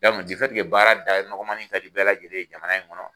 baara da nɔgɔmanin kadi bɛɛ lajɛlen ye jamana in kɔnɔ